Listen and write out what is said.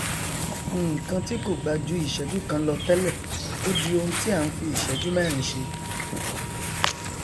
nnkan tí kò gbà ju ìsẹjú kan lọ tẹlẹ ó di oun tí a n fi ìsẹjú mẹrin ṣe